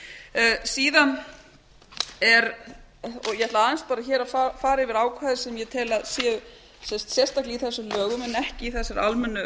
er og ég ætla aðeins bara hér að fara yfir ákvæði sem ég tel að séu sérstaklega í séum lögum en ekki í þessari almennu